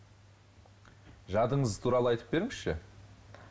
жадыңыз туралы айтып беріңізші